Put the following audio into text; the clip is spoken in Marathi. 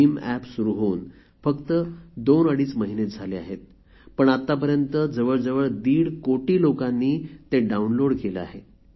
भीम एप सुरु होऊन फक्त दोनअडीच महिनेच झाले आहेत पण आतापर्यंत जवळजवळ दीड कोटी लोकांनी ते डाऊनलोड केले आहे